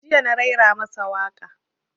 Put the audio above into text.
Jiya na raira masa waƙa